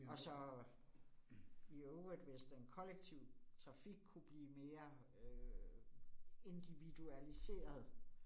Og så. I øvrigt, hvis den kollektive trafik kunne blive mere øh individualiseret